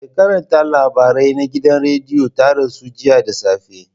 Mai karanta labarai na gidan rediyo ta rasu jiya da safe.